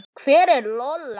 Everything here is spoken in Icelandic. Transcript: Hver er Lola?